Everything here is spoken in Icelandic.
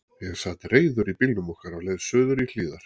Ég sat reiður í bílnum okkar á leið suður í Hlíðar.